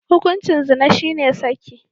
Hukuncin zina shine saki.